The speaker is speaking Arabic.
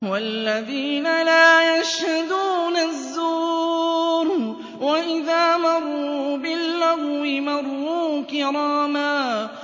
وَالَّذِينَ لَا يَشْهَدُونَ الزُّورَ وَإِذَا مَرُّوا بِاللَّغْوِ مَرُّوا كِرَامًا